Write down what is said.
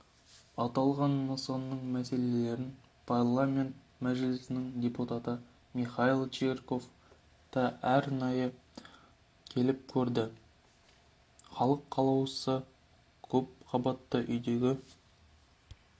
аталған нысанның мәселелерін парламент мәжілісінің депутаты михаил чирков та арнайы келіп көрді халық қалаулысы көпқабатты үйдегі